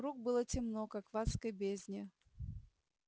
вокруг было темно как в адской бездне